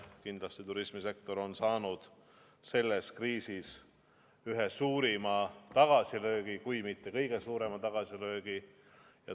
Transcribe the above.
Kindlasti on turismisektor saanud selles kriisis ühe suurima kui mitte kõige suurema tagasilöögi.